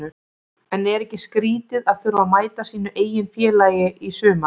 En er ekki skrítið að þurfa að mæta sínu eigin félagi í sumar?